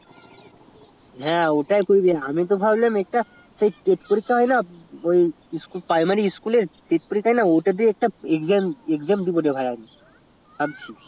হ্যা ওটাই আমি তো ভাবলাম একটা সেই test পরীক্ষা হয়না প্রাইমারি school এ হয়না ওটা তেই আমি exam দেব আর